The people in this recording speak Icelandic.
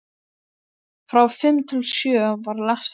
Frá fimm til sjö var lestrartími.